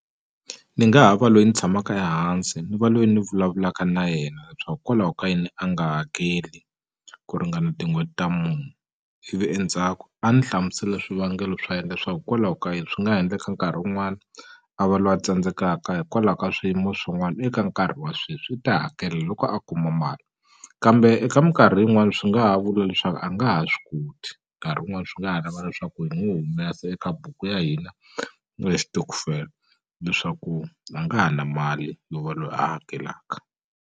Ni nga ha va loyi ni tshamaka ehansi ni va loyi ni vulavulaka na yena leswaku kwalaho ka yini a nga hakeli ku ringana tin'hweti ta ivi endzhaku a ni hlamusela swivangelo swa yena leswaku hikwalaho ka yini swi nga ha endleka nkarhi wun'wani a va lwa a tsandzekaka hikwalaho ka swiyimo swin'wani eka nkarhi wa sweswi i ta hakela loko a kuma mali kambe eka minkarhi yin'wani swi nga ha vula leswaku a nga ha swi koti nkarhi wun'wani swi nga ha lava leswaku hi n'wu humesa eka buku ya hina na xitokofela leswaku a nga ha na mali yo va loyi a hakelaka.